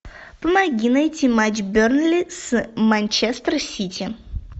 помоги найти матч бернли с манчестер сити